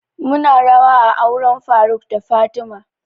Mu na rawa a auren faruk da fatima